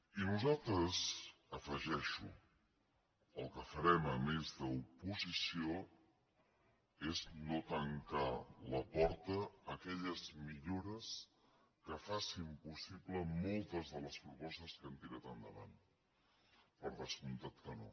i nosaltres hi afegeixo el que farem a més d’oposició és no tancar la porta a aquelles millores que facin possible moltes de les propostes que hem tirat endavant per descomptat que no